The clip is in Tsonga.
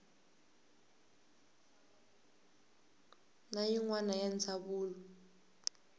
na yin wana ya ndzawulo